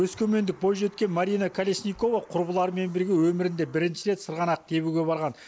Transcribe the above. өскемендік бойжеткен марина колесникова құрбыларымен бірге өмірінде бірінші рет сырғанақ тебуге барған